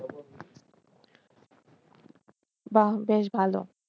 বাহ বেশ ভালো